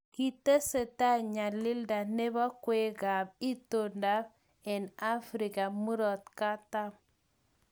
kitesetai nyalilda nebo kweekab itondo eng Afrika murot katam